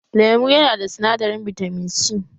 Lemu yana da sinadarin bitamin C